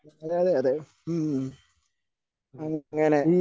അതെ അതെ അതെ ഉം അങ്ങനെ